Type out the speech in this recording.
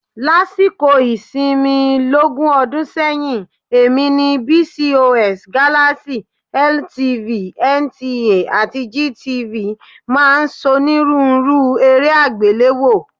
Lásìkò ìsinmi lógún ọdún sẹ́yìn, èmi ni BCOS, Galaxy, LTV, NTA àti GTV máa ń ṣonírúurú eré àgbéléwò.